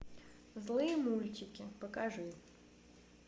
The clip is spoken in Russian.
злые мультики покажи